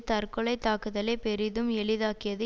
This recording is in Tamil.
தற்கொலை தாக்குதலை பெரிதும் எளிதாக்கியது